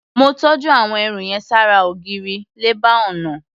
Mó tọ́jú àwọn ẹrù yẹn ṣára ògiri, lẹ́bàá ọnà.